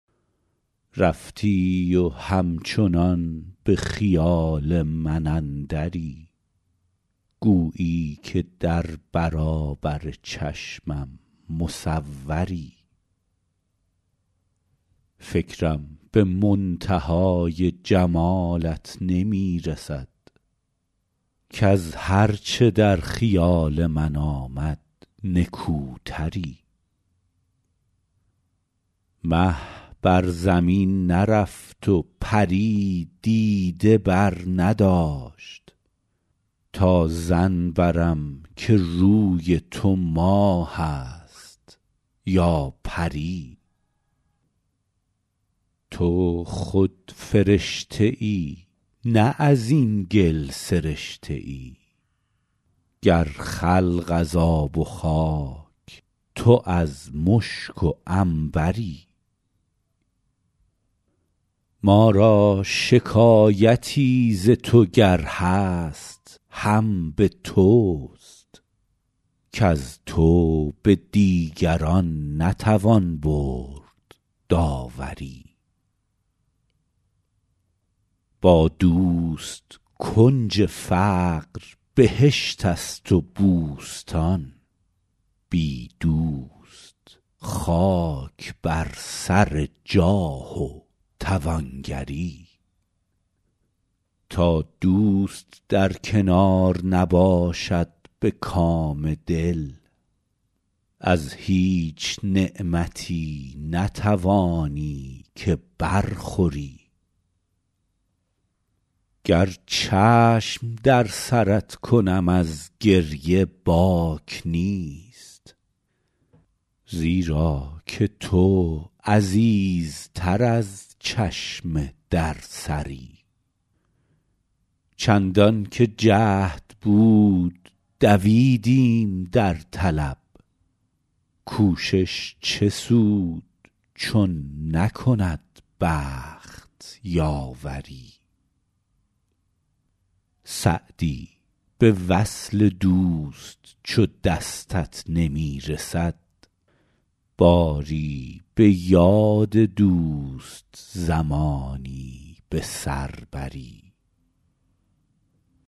رفتی و همچنان به خیال من اندری گویی که در برابر چشمم مصوری فکرم به منتهای جمالت نمی رسد کز هر چه در خیال من آمد نکوتری مه بر زمین نرفت و پری دیده برنداشت تا ظن برم که روی تو ماه است یا پری تو خود فرشته ای نه از این گل سرشته ای گر خلق از آب و خاک تو از مشک و عنبری ما را شکایتی ز تو گر هست هم به توست کز تو به دیگران نتوان برد داوری با دوست کنج فقر بهشت است و بوستان بی دوست خاک بر سر جاه و توانگری تا دوست در کنار نباشد به کام دل از هیچ نعمتی نتوانی که برخوری گر چشم در سرت کنم از گریه باک نیست زیرا که تو عزیزتر از چشم در سری چندان که جهد بود دویدیم در طلب کوشش چه سود چون نکند بخت یاوری سعدی به وصل دوست چو دستت نمی رسد باری به یاد دوست زمانی به سر بری